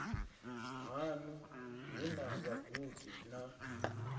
haṋu hu na vhagudi na